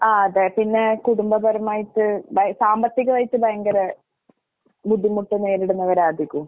ആഹ് അതെ പിന്നെ കുടുംബപരമായിട്ട് ബൈ സാമ്പത്തികവായിട്ട് ഭയങ്കര ബുദ്ധിമുട്ട് നേരിടുന്നവരാ അധികോം.